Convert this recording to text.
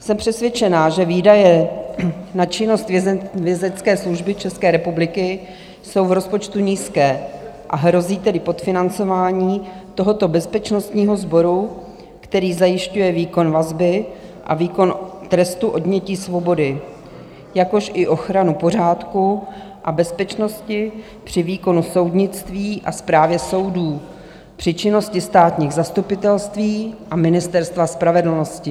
Jsem přesvědčena, že výdaje na činnost Vězeňské služby České republiky jsou v rozpočtu nízké, a hrozí tedy podfinancování tohoto bezpečnostního sboru, který zajišťuje výkon vazby a výkon trestu odnětí svobody, jakož i ochranu pořádku a bezpečnosti při výkonu soudnictví a správě soudů, při činnosti státních zastupitelství a Ministerstva spravedlnosti.